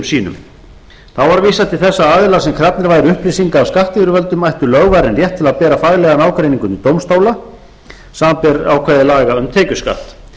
sínum þá var vísað til þess að aðilar sem krafnir væru upplýsinga af skattyfirvöldum ættu lögvarinn rétt til að bera faglegan ágreining undir dómstóla samanber ákvæði laga um tekjuskatt